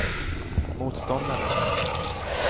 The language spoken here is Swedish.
motståndare